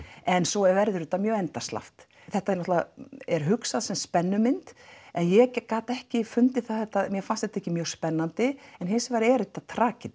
en svo verður þetta mjög endasleppt þetta er náttúrulega er hugsa sem spennumynd en ég gat ekki fundið það mér fannst þetta ekki mjög spennandi en hins vegar er þetta